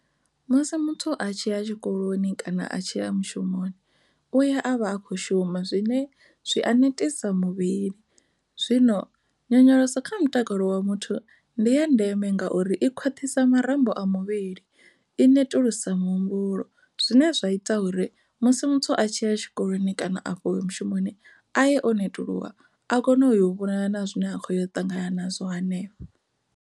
Musi muthu a tshi ya tshikoloni kana a tshi ya mushumoni u ya a vha akho shuma zwine zwi a netisa muvhili zwino nyonyoloso kha mutakalo wa muthu ndi ya ndeme ngauri i khwaṱhisa marambo a muvhili i netulusa muhumbulo, zwine zwa ita uri musi muthu a tshi ya tshikoloni kana a tshi ya afho mushumoni a ye o netuluwa a kone u yo vhonana na zwine a kho ya u ṱangana azwo hanefha.